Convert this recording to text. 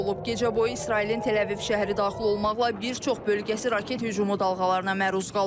Gecə boyu İsrailin Təl-Əviv şəhəri daxil olmaqla bir çox bölgəsi raket hücumu dalğalarına məruz qalıb.